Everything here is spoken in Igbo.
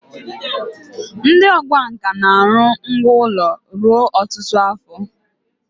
ndi okwá nkà na-aru ngwá ulo ruo otutu afo